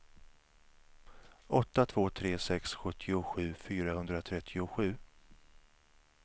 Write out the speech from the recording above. åtta två tre sex sjuttiosju fyrahundratrettiosju